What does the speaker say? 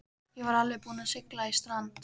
Ég var alveg búinn að sigla í strand.